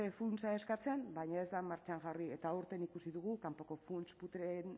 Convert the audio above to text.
funtsa eskatzen baina ez da martxan jarri eta aurten ikusi dugu kanpoko funts putreen